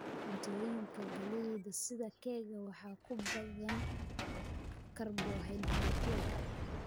Cuntooyinka galleyda, sida keega, waxaa ku badan karbohaydraytyada